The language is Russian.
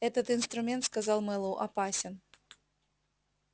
этот инструмент сказал мэллоу опасен